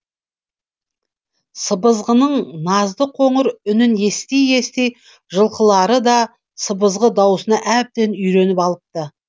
сыбызғының назды қоңыр үнін ести ести жылқылары да сыбызғы даусына әбден үйреніп алыпты